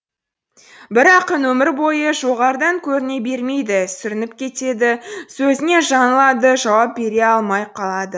бір ақын өмір бойы жоғарыдан көріне бермейді сүрініп кетеді сөзінен жаңылады жауап бере алмай қалады